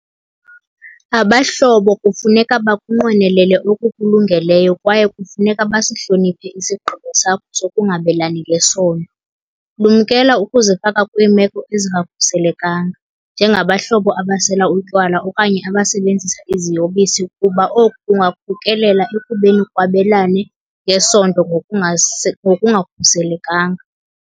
Abahlobo kufuneka bakunqwenelele okukulungeleyo kwaye kufuneka basihloniphe isigqibo sakho sokungabelani ngesondo. Lumkela ukuzifaka kwiimeko ezingakhuselekanga, njengabahlobo abasela utywala okanye abasebenzisa iziyobisi kuba oku kungakhokelela ekubeni kwabelanwe ngesondo ngokungakhuselekanga.